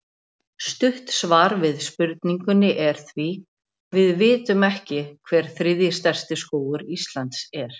Stutt svar við spurningunni er því: Við vitum ekki hver þriðji stærsti skógur Íslands er.